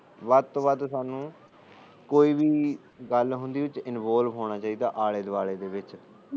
ਵੱਧ ਤੋਂ ਵੱਧ ਸਾਨੂੰ ਕੋਈ ਵੀ ਗੱਲ ਹੁੰਦੀ ਇੰਨਵੋਲਵ ਹੋਣਾ ਚਾਹੀਦਾ ਆਲੇ ਦੁਆਲੇ ਵਿੱਚ